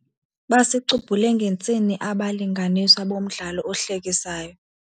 Basicubhule ngentsini abalinganiswa bomdlalo ohlekisayo.